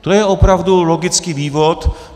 To je opravdu logický vývod.